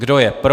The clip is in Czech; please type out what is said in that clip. Kdo je pro?